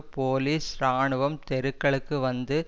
police இராணுவம் தெருக்களுக்கு வந்து